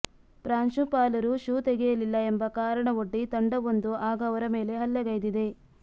ಪ್ರಾಂಶುಪಾಲರು ಶೂ ತೆಗೆಯಲಿಲ್ಲ ಎಂಬ ಕಾರಣವೊಡ್ಡಿ ತಂಡವೊಂದು ಆಗ ಅವರ ಮೇಲೆ ಹಲ್ಲೆಗೈದಿದೆ